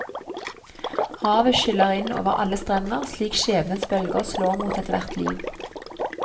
Havet skyller inn over alle strender slik skjebnens bølger slår mot ethvert liv.